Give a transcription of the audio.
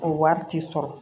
O wari ti sɔrɔ